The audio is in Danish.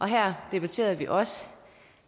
her debatterede vi også